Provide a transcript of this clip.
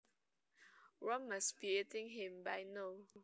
Worms must be eating him by now